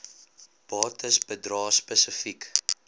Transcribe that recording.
bates bedrae spesifiek